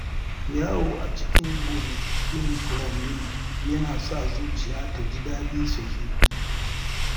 Yawo a cikin gonakin furanni yana sa zuciya ta ji daɗi sosai.